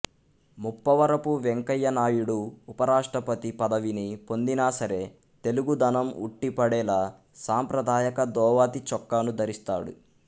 ముప్పవరపు వెంకయ్యనాయుడు ఉప రాష్ట్రపతి పదవిని పొందినా సరే తెలుగుదనం ఉట్టిపడేలా సాంప్రదాయక ధోవతి చొక్కాను ధరిస్తాడు